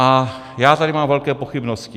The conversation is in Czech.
A já tady mám velké pochybnosti.